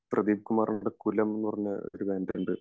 പ്രതീപ് കുമാറിന്റെ കുലം എന്ന് പറഞ്ഞ ഒരു ബാൻഡ് ഉണ്ട്